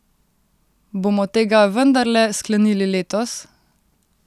Bomo tega vendarle sklenili letos?